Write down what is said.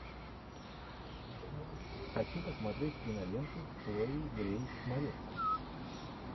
хочу посмотреть киноленту с хлоей грейс морец